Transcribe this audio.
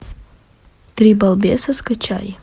три балбеса скачай